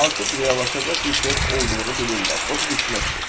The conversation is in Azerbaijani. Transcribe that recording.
Artıq reallaşacaq bir şəhər olduğunu bilirlər, o da düşməkdir.